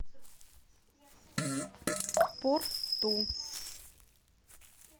порту